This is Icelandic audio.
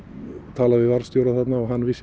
talaði við varðstjóra þarna og hann vissi